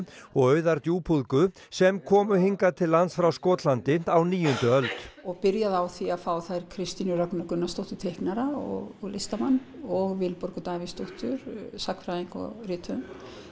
og Auðar djúpúðgu sem komu hingað til lands frá Skotlandi á níundu öld og byrjaði á því að fá þær Kristínu Rögnu Gunnarsdóttir teiknara og listamann og Vilborgu Davíðsdóttur sagnfræðing og rithöfund